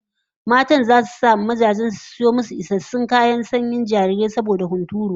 Matan zasu sanya mazajen su da su sayo musu isassun kayan sanyin jarirai saboda hunturu